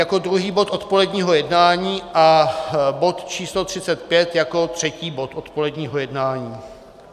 Jako druhý bod odpoledního jednání a bod číslo 35 jako třetí bod odpoledního jednání.